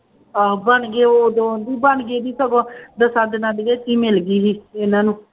ਆਹੋ ਬਣ ਗਈ ਉਦੋਂ ਵੀ ਬਣ ਗਈ ਸੀ ਸਗੋਂ ਦਸਾਂ ਦਿਨਾਂ ਦੇ ਵਿੱਚ ਹੀ ਮਿਲ ਗਈ ਸੀ ਇਹਨਾਂ ਨੂੰ।